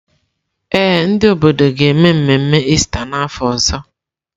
Ee, ndị obodo ga-eme mmemme Ista n’afọ ọzọ.